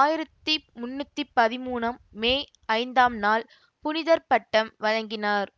ஆயிரத்தி முன்னூத்தி பதிமூனு மே ஐந்தாம் நாள் புனிதர் பட்டம் வழங்கினார்